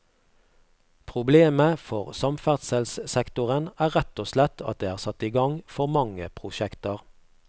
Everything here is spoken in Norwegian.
Problemet for samferdselssektoren er rett og slett at det er satt i gang for mange prosjekter.